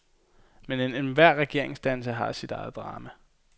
Men enhver regeringsdannelse har sit eget drama.